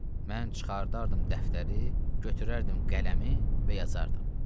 Mən çıxardardım dəftəri, götürərdim qələmi və yazardım.